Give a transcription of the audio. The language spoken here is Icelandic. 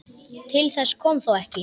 Til þess kom þó ekki.